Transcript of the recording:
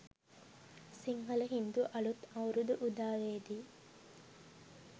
සිංහල හින්දු අලුත් අවුරුදු උදාවේදී